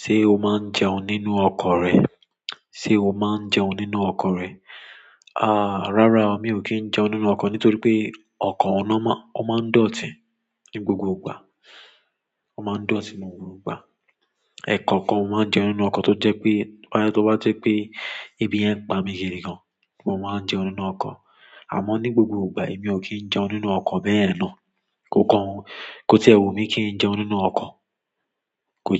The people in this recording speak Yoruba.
Ṣé o máa ń jẹun nínú ọkọ̀ rẹ? Se o maa n jẹun nínú ọkọ rẹ? Rárá obmi ò kí ń jẹun nínú ọkọ̀ nítorí pé ọkọ ọ̀nà ó máa ń dọtín ní gbogbo ìgbà. Ó máa ń dùn ọtín ní gbogbo ìgbà. Ẹ̀ẹ̀kọ̀kan mo máa ń jẹun nínú ọkọ̀ tó jẹ́ pé, boya tó bá jẹ́ pé ebi yẹ̀n ń pa mi gidi gan, mo máa ń jẹun nínú ọkọ̀. Àmọ́ ní gbogbo ìgbà èmi ò kí ń jẹun nínú ọkọ̀ bẹ́yen náà. Ko kan, kò tẹ́ wubmi kí n jẹun nínú ọkọ̀. Kò